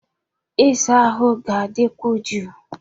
Ịsa ahụ ga-adịkwu jụụ.